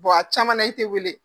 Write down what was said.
Bɔn a caman na, i tɛ weele